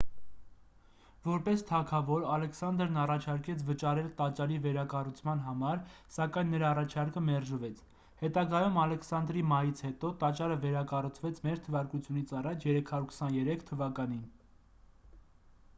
որպես թագավոր ալեքսանդրն առաջարկեց վճարել տաճարի վերակառուցման համար սակայն նրա առաջարկը մերժվեց հետագայում ալեքսանդրի մահից հետո տաճարը վերակառուցվեց մ.թ.ա. 323 թվականին